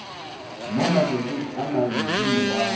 mo matšatšing a mabedi morago